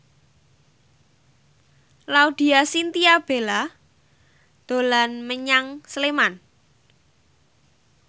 Laudya Chintya Bella dolan menyang Sleman